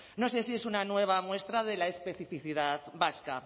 no sé si es una nueva muestra de la especificidad vasca